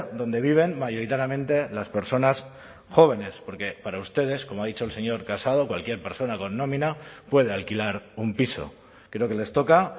donde viven mayoritariamente las personas jóvenes porque para ustedes como ha dicho el señor casado cualquier persona con nómina puede alquilar un piso creo que les toca